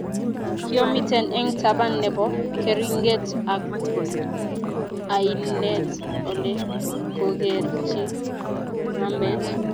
kiomiten eng taban nebo keringet ab ainet ole kokerchi mambet